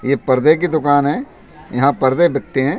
यह पर्दे की दुकान है यहाँ पर्दे बिकते हैं।